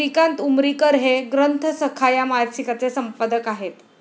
श्रीकांत उमरीकर हे 'ग्रंथसखा' या मासिकाचे संपादक आहेत.